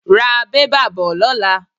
Ra bẹ́bà bo lóla.